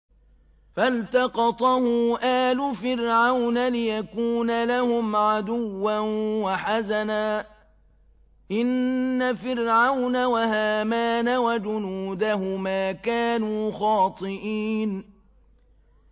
فَالْتَقَطَهُ آلُ فِرْعَوْنَ لِيَكُونَ لَهُمْ عَدُوًّا وَحَزَنًا ۗ إِنَّ فِرْعَوْنَ وَهَامَانَ وَجُنُودَهُمَا كَانُوا خَاطِئِينَ